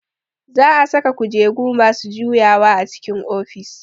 Za a saka kujeru masu juyawa a cikin ofis